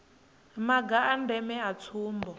maga a ndeme a tsumbo